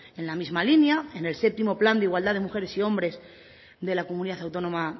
en la misma línea en el séptimo plan de igualdad de mujeres y hombres de la comunidad autónoma